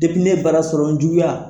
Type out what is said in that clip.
ne baara sɔrɔ n juguya